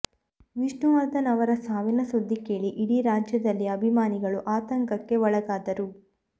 ವಿಷ್ಣುವರ್ಧನ್ ಅವರ ಸಾವಿನ ಸುದ್ದಿ ಕೇಳಿ ಇಡೀ ರಾಜ್ಯದಲ್ಲಿ ಅಭಿಮಾನಿಗಳು ಆತಂಕಕ್ಕೆ ಒಳಗಾದರು